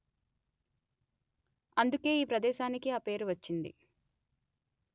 అందుకే ఈ ప్రదేశానికి ఆ పేరు వచ్చింది